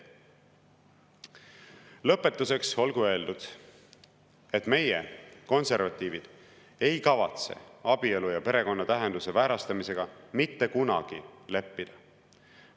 Lõpetuseks olgu öeldud, et meie, konservatiivid, ei kavatse abielu ja perekonna tähenduse väärastamisega mitte kunagi leppida.